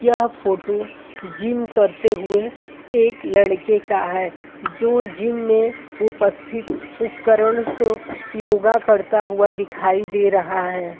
यह photo gym करते हुए एक लड़के का है जो जिम में उपस्तिति उपकरण से योगा करता हुआ दिखाई दे रहा है।